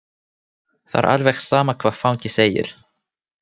Það er alveg sama hvað fangi segir.